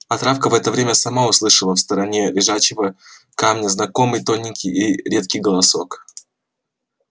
а травка в это время сама услышала в стороне лежачего камня знакомый тоненький и редкий голосок